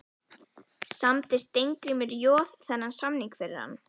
Samdi Steingrímur Joð þennan samning fyrir hann?